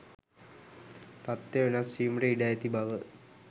තත්වය වෙනස් වීමට ඉඩ ඇති බව